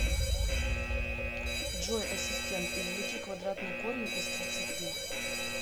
джой ассистент извлеки квадратный корень из тридцати